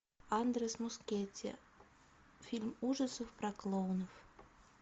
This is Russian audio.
андрес мускетти фильм ужасов про клоунов